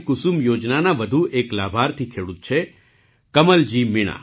કુસુમ યોજનાના વધુ એક લાભાર્થી ખેડૂત છે કમલજી મીણા